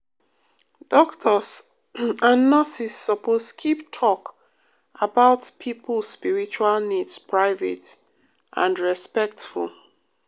doctors and nurses suppose keep talk about pipo spiritual needs private and respectful.